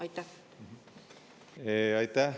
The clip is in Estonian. Aitäh!